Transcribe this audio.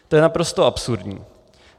To je naprosto absurdní.